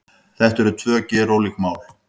Þetta eru tvö gerólík mál